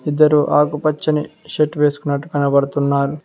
ఇద్దరు ఆకుపచ్చని షర్ట్ వేసుకున్నట్టు కనబడుతున్నారు.